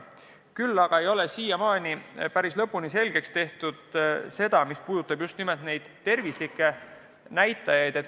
Küll aga ei ole siiamaani päris lõpuni selgeks tehtud nende toodete mõju tervisele.